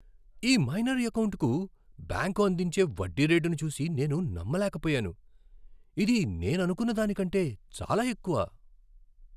ఈ మైనర్ ఎకౌంటుకు బ్యాంకు అందించే వడ్డీ రేటును చూసి నేను నమ్మలేకపోయాను! ఇది నేననుకున్న దానికంటే చాలా ఎక్కువ!